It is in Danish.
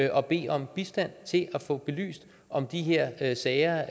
og bede om bistand til at få belyst om de her her sager